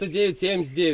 2979.